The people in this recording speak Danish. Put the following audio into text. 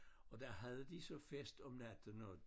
Og der havde de så fest om natten og